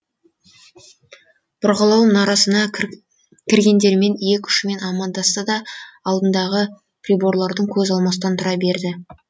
бұрғылау мұнарасына кіргендермен иек ұшымен амандасты да алдындағы приборлардан көз алмастан тұра берді